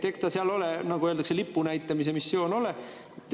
Eks ta seal, nagu öeldakse, lipu näitamise missioon ole.